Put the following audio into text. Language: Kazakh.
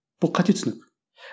бұл қате түсінік